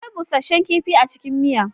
Akwai busasshen kifi a cikin miya.